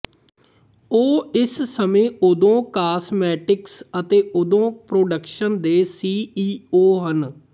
ਉਹ ਇਸ ਸਮੇਂ ਓਧੋ ਕਾਸਮੈਟਿਕਸ ਅਤੇ ਓਧੋ ਪ੍ਰੋਡਕਸ਼ਨ ਦੇ ਸੀ ਈ ਓ ਹਨ